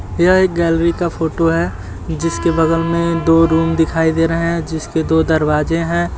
यह एक गैलरी का फोटो है जिसके बगल में दो रूम दिखाई दे रहे हैं जिसके दो दरवाजे हैं।